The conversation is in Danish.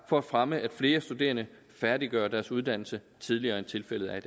for at fremme at flere studerende færdiggør deres uddannelse tidligere end tilfældet er